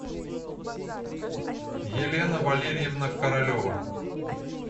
елена валерьевна королева